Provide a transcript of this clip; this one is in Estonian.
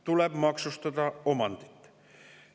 Tuleb maksustada omandit!